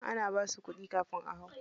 Ana basu kuɗi kafin a hau?